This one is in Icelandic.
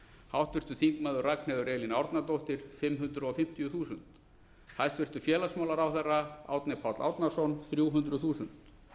háttvirtur þingmaður ragnheiður elín árnadóttir fimm hundruð fimmtíu þúsund hæstvirts félagsmálaráðherra árni páll árnason þrjú hundruð þúsund